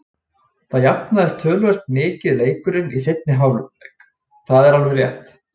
Það jafnaðist töluvert mikið leikurinn í seinni hálfleik, það er alveg rétt.